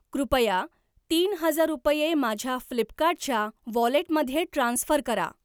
कृपया तीन हजार रुपये माझ्या फ्लिपकार्ट च्या वॉलेटमध्ये ट्रान्स्फर करा.